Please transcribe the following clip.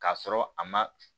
K'a sɔrɔ a ma